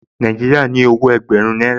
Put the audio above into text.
Nàìjíríà ní owó ẹgbẹ̀rún náírà